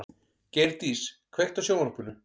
Geirdís, kveiktu á sjónvarpinu.